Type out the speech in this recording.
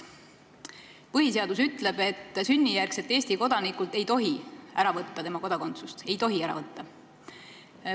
Põhiseadus ütleb, et sünnijärgselt Eesti kodanikult ei tohi tema kodakondsust ära võtta.